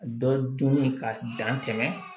Dɔ dun ye ka dan tɛmɛ